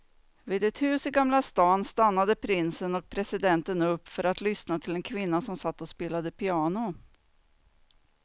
Vid ett hus i gamla stan stannade prinsen och presidenten upp för att lyssna till en kvinna som satt och spelade piano.